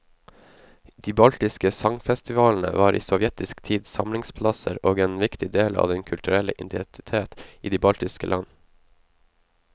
De baltiske sangfestivalene var i sovjetisk tid samlingsplasser og en viktig del av den kulturelle identitet i de baltiske land.